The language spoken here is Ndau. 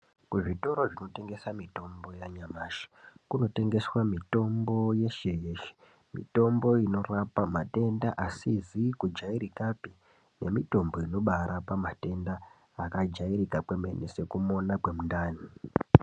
Kuzvitoro zvinotengesa mutombo yanyamashi kunotengeswa mutombo yeshe yeshe mitombo inorapa matenda asizi kujairika pe nemitombo inobaa rapa matenda akajairika kwemene sekumona kwemundani.